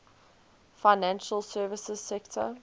financial services sector